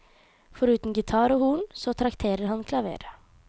Foruten gitar og horn, så trakterer han klaveret.